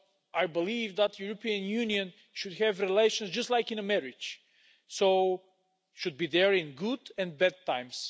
I believe that the European Union should have relations just like in a marriage so it should be there in good and bad times.